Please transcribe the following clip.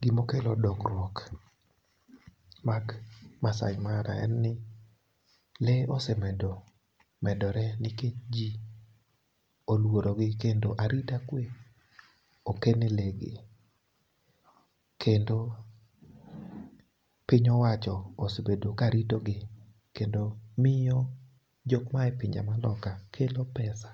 Gima okelo dongruok mag Maasai Mara en ni lee osemedo medore nikech jii oluorogi kendo arita kwee oket ne lee gi. Kendo piny owacho osebedo karito gi kendo miyo jokma ae pinje maoko kelo pesa